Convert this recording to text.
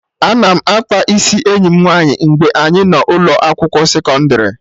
Ana m akpa isi enyi m nwaanyị mgbe anyị nọ ụlọ akwụkwọ sekọndrị